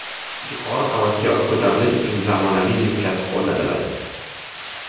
Yuqori qavatga ko‘tarilish uchun zamonaviy liftlar o‘rnatiladi.